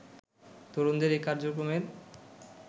তরুণদের এই কার্যক্রমের